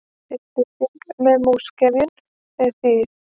Upplýsing sem múgsefjun, þýð.